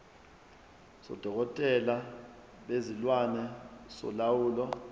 sodokotela bezilwane solawulo